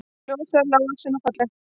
Ljóshærð, lágvaxin og falleg